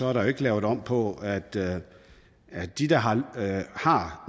er der ikke lavet om på at at de der har har